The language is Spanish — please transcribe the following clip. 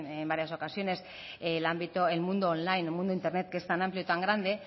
en varias ocasiones el mundo online el mundo de internet que es tan amplio y tan grande